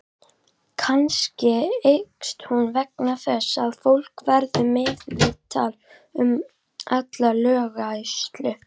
Kannski eykst hún vegna þess að fólk verður meðvitaðra um alla löggæslu.